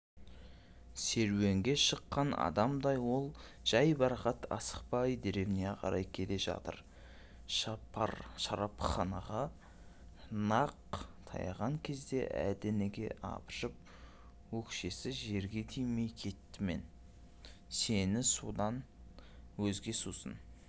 серуенге шыққан адамдай ол жайбарақат асықпай деревняға қарай келе жатыр шарапханаға нақ таянған кезде әлденеге абыржып өкшесі жерге тимей кеттімен сені судан өзге сусын